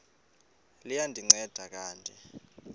liya ndinceda kanti